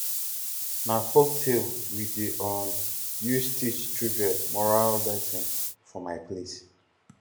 na folktale we dey um use teach children moral lesson for my place